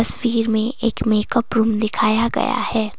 तस्वीर में एक मेकअप रूम दिखाया गया है।